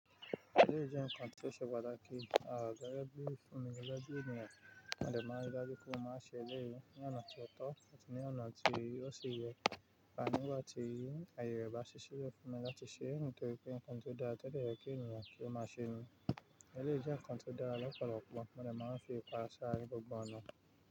Eléjè nkán tí ó ṣe patàkí à gégé bi fún mi gégé bi ènìyàn, mo dẹ̀ máa rí i dájú pé mo má ṣe eléyìí ní ọ̀nà tó tọ́ àti ní ọ̀nà tí ó ṣe yẹ. A nigba ti ayẹ rẹ bá ṣiṣẹ́ le fún mi láti ṣe ẹ̀ nítorí pé nkán ti dáa, tẹ́ dẹ̀ yẹ kí ènìyàn kí ó máa ṣe mi. Eléjè nkán tí dáa lọ́pọ̀lọpọ̀, mo ní máa ń fi pa ṣáá ní gbogbo ọ̀nà.